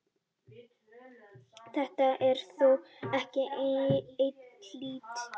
Þetta er þó ekki einhlítt.